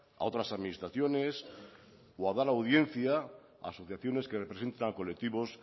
a otras administraciones o a dar audiencia a asociaciones que representan a colectivos